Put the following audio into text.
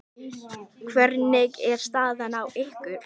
Hvernig er staðan á ykkur?